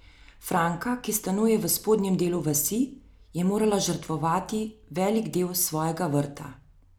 Franka, ki stanuje v spodnjem delu vasi, je morala žrtvovati velik del svojega vrta.